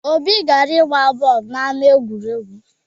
Obi gara ịgba boolu n'ama egwuregwu